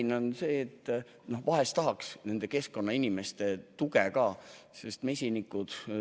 Põhjus on see, et vahel tahaks nende keskkonnainimeste tuge ka mujal.